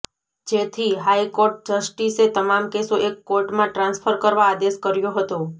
જેથી હાઇકોર્ટ જસ્ટિસે તમામ કેસો એક કોર્ટમાં ટ્રાન્સફર કરવા આદેશ કર્યો હતો